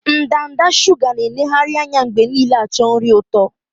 Ndanda shuga na-eneghari anya mgbe niile acho nri ụtọ